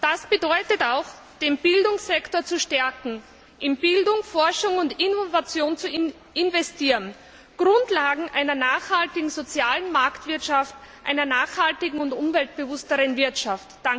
Das bedeutet auch, den Bildungssektor zu stärken und in Bildung, Forschung und Innovation zu investieren, als Grundlagen einer nachhaltigen sozialen Marktwirtschaft, einer nachhaltigen und umweltbewussteren Wirtschaft.